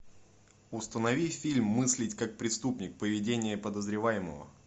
установи фильм мыслить как преступник поведение подозреваемого